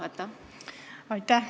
Aitäh!